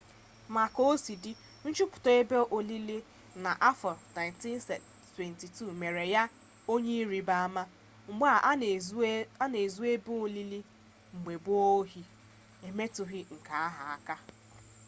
ma ka o si dị nchọpụta ebe olili ya n'afọ 1922 mere ya onye ịrịba ama mgbe a na ezu ebe olili mgbe gboo ohi emetụghị nke a aka